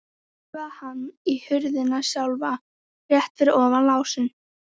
Þá togaði hann í hurðina sjálfa, rétt fyrir ofan lásinn.